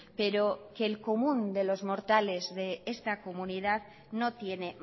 pero que el común de los mortales de esta comunidad no tiene